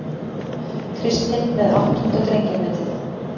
Kristinn með áttunda drengjametið